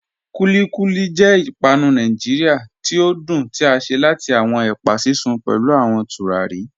Kúlíkúlí jẹ̀ ìpànù Nàìjíríà tí o dún tí a ṣe láti awọn ẹpa sísun pẹ̀lú awọn tùràrí.